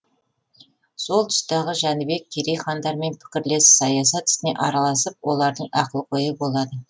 сол тұстағы жәнібек керей хандармен пікірлес саясат ісіне араласып олардың ақылгөйі болады